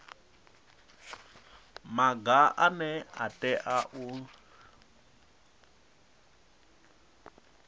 maga ane a tea u